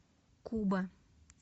куба